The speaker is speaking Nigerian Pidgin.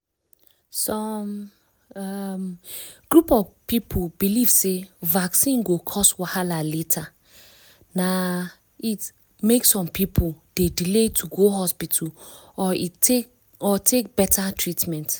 some um group of people belief sey vaccine go cause wahala later na it make some people dey delay to go hospital or take better treatment.